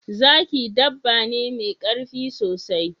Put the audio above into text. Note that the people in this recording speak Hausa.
Zaki dabba ne mai karfi sosai